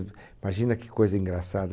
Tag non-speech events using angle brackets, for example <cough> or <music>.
<unintelligible> Imagina que coisa engraçada.